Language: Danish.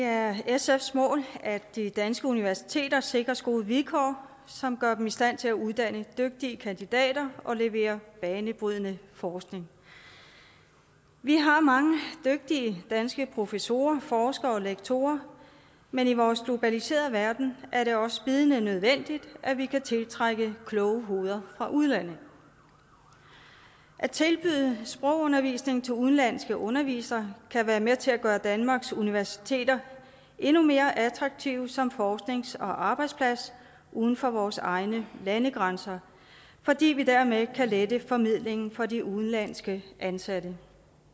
er sfs mål at de danske universiteter sikres gode vilkår som gør dem i stand til at uddanne dygtige kandidater og levere banebrydende forskning vi har mange dygtige danske professorer forskere og lektorer men i vores globaliserede verden er det også bydende nødvendigt at vi kan tiltrække kloge hoveder fra udlandet at tilbyde sprogundervisning til udenlandske undervisere kan være med til at gøre danmarks universiteter endnu mere attraktive som forsknings og arbejdsplads uden for vores egne landegrænser fordi vi dermed kan lette formidlingen for de udenlandske ansatte